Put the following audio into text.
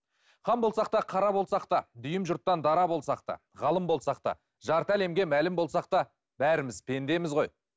хан болсақ та қара болсақ та дүйім жұрттан дара болсақ та ғалым болсақ та жарты әлемге мәлім болсақ та бәріміз пендеміз ғой